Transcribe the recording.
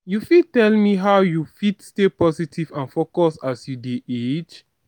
you fit tell me how you fit stay positive and focused as you dey age?